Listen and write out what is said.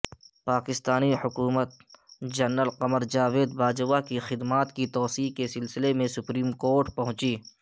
پاکستانی حکومت جنرل قمرجاوید باجوہ کی خدمات کی توسیع کے سلسلے میں سپریم کورٹ پہنچی